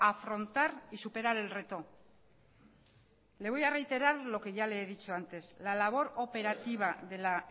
afrontar y superar el reto le voy a reiterar lo que ya le he dicho antes la labor operativa de la